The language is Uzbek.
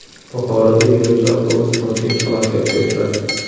Buxoroda yo‘lovchi avtobus mudhish halokatga uchradi.